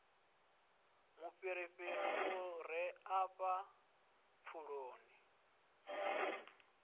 mufhirifhiri u re afha pfuloni